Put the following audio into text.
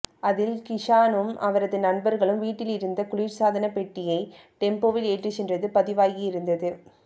அதில் கிஷானும் அவரது நண்பர்களும் வீட்டிலிருந்த குளிர் சாதனப் பெட்டியை டெம்போவில் ஏற்றிச் சென்றது பதிவாகியிருந்தது